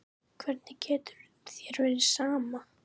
Hvernig getur þér verið sama?